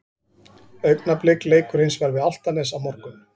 Augnablik leikur hins vegar við Álftanes á morgun.